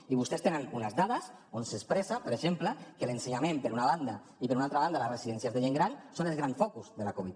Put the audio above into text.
i vostès tenen unes dades on s’expressa per exemple que l’ensenyament per una banda i per una altra banda les residències de gent gran són els grans focus de la covid